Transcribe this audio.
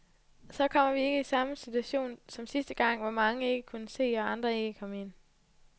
Så kommer vi ikke i samme situaton som sidste gang, hvor mange ikke kunne se, og andre ikke kom ind.